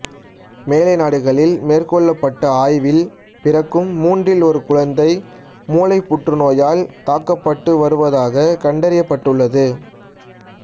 மேலை நாடுகளில் மேற்கொள்ளப்பட்ட ஆய்வில் பிறக்கும் மூன்றில் ஒரு குழந்தை மூளை புற்றுநோயால் தாக்கப்பட்டு வருவதாக கண்டறியப்பட்டுள்ளது